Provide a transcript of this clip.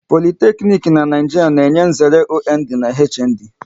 Politeknic n'Naijiria na-enye nzere OND na HND